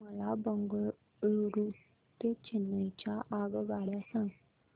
मला बंगळुरू ते चेन्नई च्या आगगाड्या सांगा